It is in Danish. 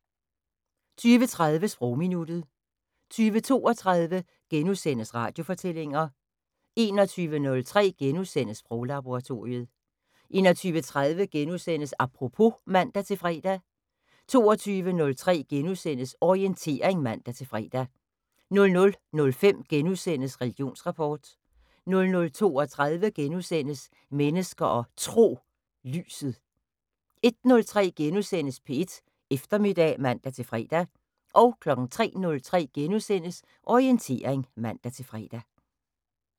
20:30: Sprogminuttet 20:32: Radiofortællinger * 21:03: Sproglaboratoriet * 21:30: Apropos *(man-fre) 22:03: Orientering *(man-fre) 00:05: Religionsrapport * 00:32: Mennesker og Tro: Lyset * 01:03: P1 Eftermiddag *(man-fre) 03:03: Orientering *(man-fre)